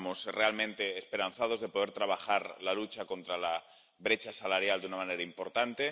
Estamos realmente esperanzados de poder trabajar la lucha contra la brecha salarial de una manera importante.